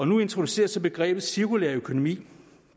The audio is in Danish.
nu introduceres så begrebet cirkulær økonomi